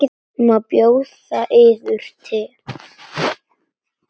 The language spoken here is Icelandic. Má bjóða yður te?